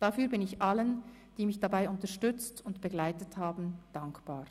Dafür bin ich allen, die mich dabei unterstützt und begleitet haben, dankbar.